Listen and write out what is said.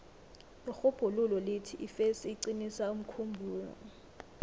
irhubhululo lithi ifesi iqinisa umkhumbulo